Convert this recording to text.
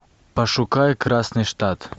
пошукай красный штат